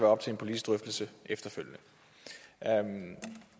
op til en politisk drøftelse efterfølgende